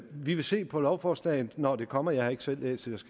vil se på lovforslaget når det kommer jeg har ikke selv læst det